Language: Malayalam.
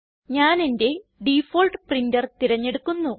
ഞാനെന്റെ ഡിഫാൾട്ട് പ്രിൻറർ തിരഞ്ഞെടുക്കുന്നു